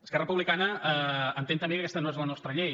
esquerra republicana entén també que aquesta no és la nostra llei